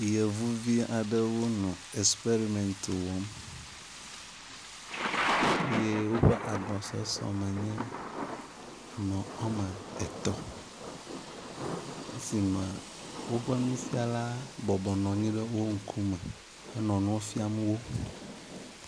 Yevuvi aɖewo le experiment wɔm ye woƒe agbɔeɔeɔ me nye ame woame etɔ̃. Le esime woƒe nufiala bɔbɔ nɔ anyi ɖe woƒe ŋkume henɔ nua fiam wo.